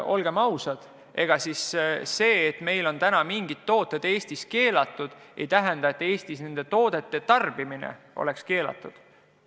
Olgem ausad: see, et meil on mingid tooted Eestis keelatud, ei tähenda, et Eestis on nende toodete tarbimine keelatud.